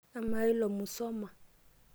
amaa ilo Musoma?